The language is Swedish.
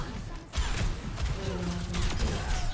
Roland Franzén